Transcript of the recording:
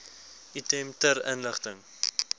item ter inligting